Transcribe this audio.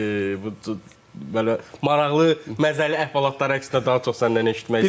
Yəni belə maraqlı, məzəli əhvalatları əksinə daha çox səndən eşitmək istəyirik.